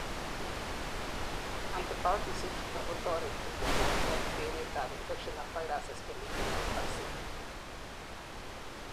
antibodies ichuton kotoreti kogon teret ab infection ak viruses chemiten en vaccine